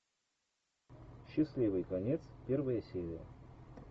счастливый конец первая серия